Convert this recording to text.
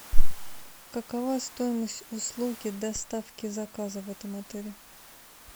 какова стоимость услуги доставки заказа в этом отеле